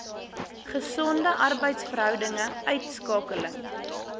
gesonde arbeidsverhoudinge uitskakeling